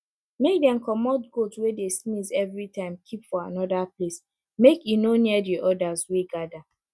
make dem comot goat wey dey sneeze everytime keep for anoda place make e no near di odas wey gather